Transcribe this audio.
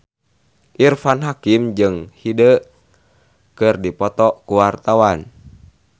Irfan Hakim jeung Hyde keur dipoto ku wartawan